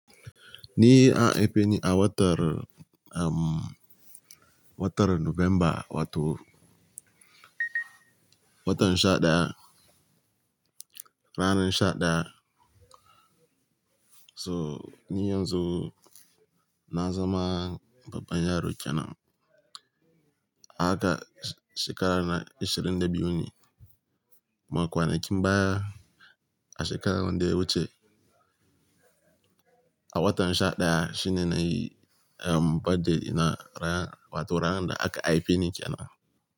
Ni an haife ni a watar, um, watar Nuwamba, wato watan sha ɗaya, ranar sha ɗaya. So, ni yanzu na zama baban yaro kenan. Haka shekara na ishirin da biyu ne, ma kwanakin baya a shekarar da ya wuce. A watan sha ɗaya shine na yi, um, birthday dina, rana, wato ranan da aka haife ni kenan.